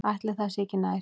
Ætli það sé ekki nær.